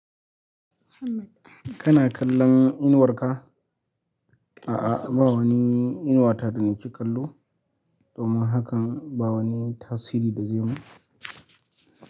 Kana kallon inuwar ka? A'a ba wani inuwa ta da nake kallo, domin hakan ba wani tasiri da zai mu.